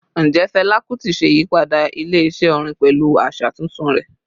Njẹ Fẹla Kuti ṣe iyipada ile-iṣẹ orin pẹlu aṣa tuntun rẹ?